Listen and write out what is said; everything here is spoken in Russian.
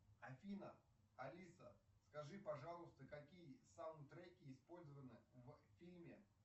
афина алиса скажи пожалуйста какие саундтреки использованы в фильме